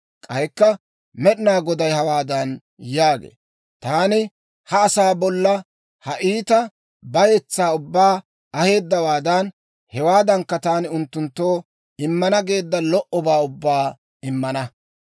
K'aykka Med'inaa Goday hawaadan yaagee; «Taani ha asaa bolla ha iita bayetsaa ubbaa aheeddawaadan, hewaadankka taani unttunttoo immana geedda lo"obaa ubbaa immana.